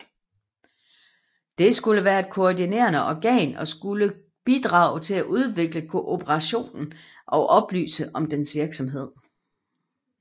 Det skulle være et koordinerende organ og skulle bidrage til at udvikle kooperationen og oplyse om dens virksomhed